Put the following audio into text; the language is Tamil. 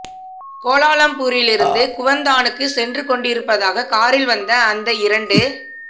கோலாலம்பூரிலிருந்து குவந்தானுக்கு சென்று கொண்டீரப்பதாக காரில் வந்த அந்த இரண்டு